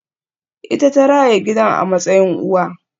Ita ta raya gidan a matsayin uwa